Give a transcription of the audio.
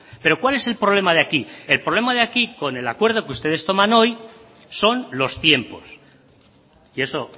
pero cuál es el problema de aquí el problema de aquí con el acuerdo que ustedes toman hoy son los tiempos y eso